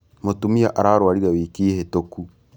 Mūtumia ararwarire wiki hītūku